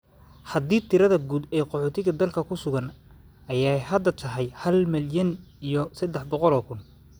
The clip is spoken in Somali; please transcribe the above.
Haddii tirada guud ee qaxootiga dalka ku sugan ay hadda tahay hal milyan iyo saddex boqol oo kun.